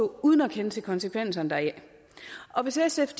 uden at kende til konsekvenserne deraf og hvis sf